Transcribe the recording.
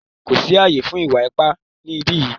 Kò sí ààyè fún ìwà ipá ni ìbí yìí!